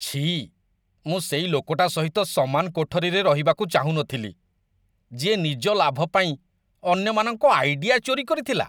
ଛିଃ, ମୁଁ ସେଇ ଲୋକଟା ସହିତ ସମାନ କୋଠରୀରେ ରହିବାକୁ ଚାହୁଁନଥିଲି ଯିଏ ନିଜ ଲାଭ ପାଇଁ ଅନ୍ୟମାନଙ୍କ ଆଇଡିଆ ଚୋରି କରିଥିଲା।